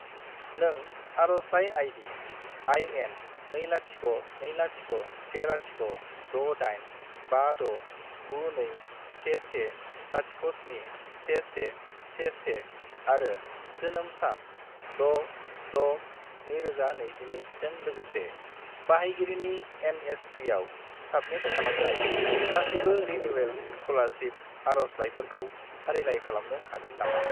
नों आरजलाइ ID. IN20201068569211071111 आरो जोनोम सान 6-6-2022 जों लोगोसे बाहायगिरिनि एन.एस.पि.आव साबमिट खालामनाय गासिबो रिनिउयेल स्कलारसिप आरजलाइफोरखौ फारिलाइ खालामनो हागोन नामा?